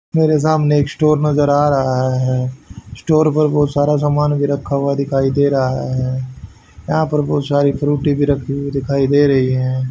मेरे सामने एक स्टोर नजर आ रहा है स्टोर पर बहुत सारा सामान भी रखा हुआ दिखाई दे रहा हैं यहां पर बहुत सारी फ्रूटी भी रखी हुई दिखाई दे रही हैं।